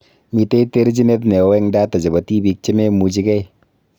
Mitei terjinet neo eng data chebo tibiik chememuchigei